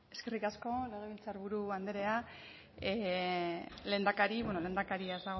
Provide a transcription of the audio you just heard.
eskerrik asko legebiltzarburu andrea lehendakari bueno lehendakaria